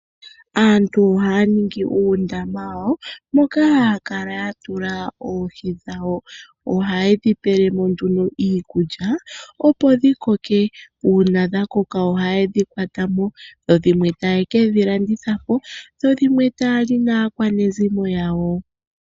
Aantu ohaya ningi uundama wawo moka haya kala ya tula oohi dhawo. Oha yedhi pelemo nduno iikulya opo dhikoke. Uuna dhakoko ohayedhi kwatamo, dho dhimwe taye kedhi landitha po, dho dhimwe taya li naakwanezimo yawo.